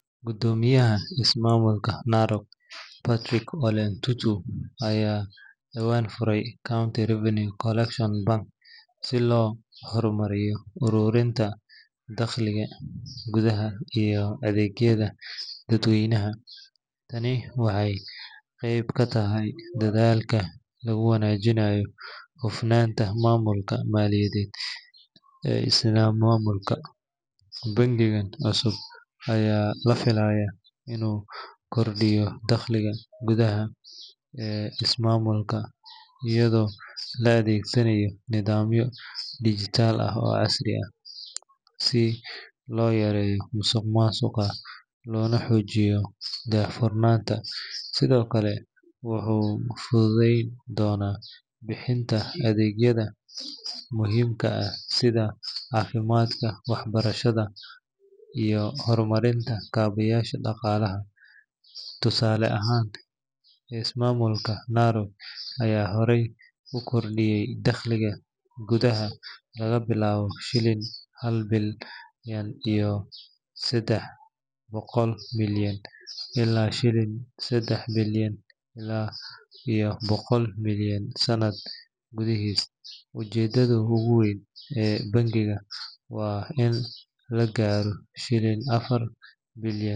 Guddoomiyaha ismaamulka Narok, Patrick Ole Ntutu, ayaa dhawaan furay County Revenue Collection Bank si loo horumariyo ururinta dakhliga gudaha iyo adeegyada dadweynaha. Tani waxay qeyb ka tahay dadaalka lagu wanaajinayo hufnaanta maamulka maaliyadeed ee ismaamulka. Bankigan cusub ayaa la filayaa inuu kordhiyo dakhliga gudaha ee ismaamulka, iyadoo la adeegsanayo nidaamyo dijitaal ah oo casri ah si loo yareeyo musuqmaasuqa loona xoojiyo daahfurnaanta. Sidoo kale, wuxuu fududeyn doonaa bixinta adeegyada muhiimka ah sida caafimaadka, waxbarashada, iyo horumarinta kaabayaasha dhaqaalaha. Tusaale ahaan, ismaamulka Narok ayaa horey u kordhiyay dakhliga gudaha laga bilaabo shilin hal bilyan iyo saddex boqol milyan ilaa shilin saddex bilyan iyo boqol milyan sanad gudihiis. Ujeedada ugu weyn ee bankigan waa in la gaaro shilin afar bilyan.